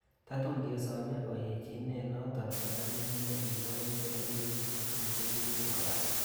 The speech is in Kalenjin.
Tatun kesome oyechinet-Noton kora ko kit nikibois en kenyisiek tuten chekikobata.